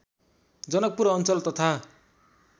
जनकपुर अञ्चल तथा